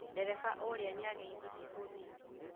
Dereba ũrĩa nĩageithirie mũthii